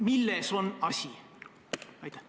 Milles on asi?